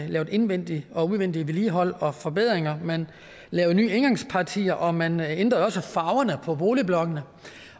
lavede indvendig og udvendig vedligehold og forbedringer man lavede nye indgangspartier og man ændrede også farverne på boligblokkene